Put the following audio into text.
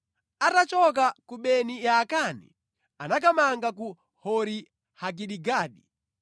Atachoka ku Beni Yaakani anakamanga ku Hori-Hagidigadi.